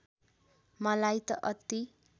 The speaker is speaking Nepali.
मलाई त अति